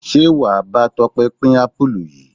Ṣé wàá bá Tope pin apulu yìí?